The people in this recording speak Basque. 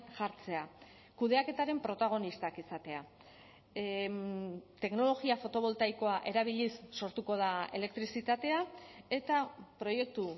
jartzea kudeaketaren protagonistak izatea teknologia fotoboltaikoa erabiliz sortuko da elektrizitatea eta proiektu